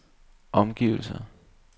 omgivelser